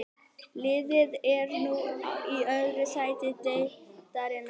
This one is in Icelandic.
Liðið er nú í öðru sæti deildarinnar.